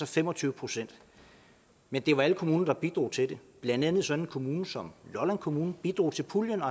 fem og tyve procent men det var alle kommuner der bidrog til det blandt andet sådan en kommune som lolland kommune bidrog til puljen